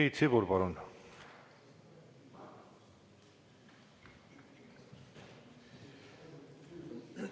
Priit Sibul, palun!